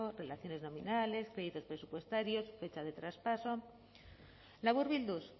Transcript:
relaciones nominales créditos presupuestarios fechas de traspaso laburbilduz